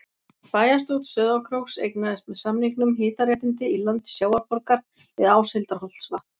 Bæjarstjórn Sauðárkróks eignaðist með samningum hitaréttindi í landi Sjávarborgar við Áshildarholtsvatn.